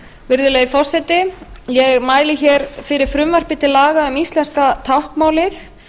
virðulegi forseti ég mæli hér fyrir frumvarpi til laga um íslenska táknmálið